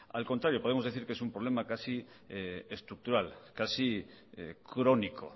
al contrario podemos decir que es un problema casi estructural casi crónico